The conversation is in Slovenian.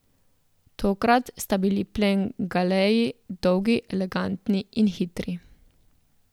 Tokrat sta bili plen galeji, dolgi, elegantni in hitri.